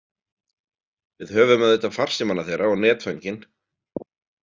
Við höfum auðvitað farsímana þeirra og netföngin.